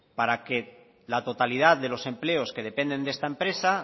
para que la totalidad de los empleos que dependen de esta empresa